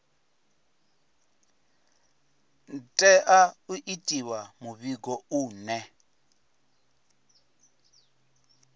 tea u itiwa muvhigo une